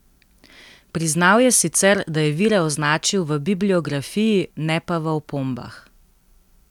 Priznal je sicer, da je vire označil v bibliografiji, ne pa v opombah.